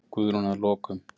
Guðrún: Að lokum.